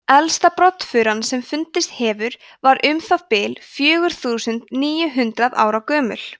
elsta broddfuran sem fundist hefur var um það bil fjögur þúsund níu hundruð ára gömul